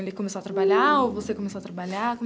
Ele começou a trabalhar ou você começou a trabalhar?